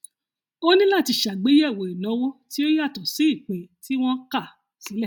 ó ní láti ṣàgbéyèwò ìnáwó tí ó yàtọ sí ìpín tí wọn kà sílẹ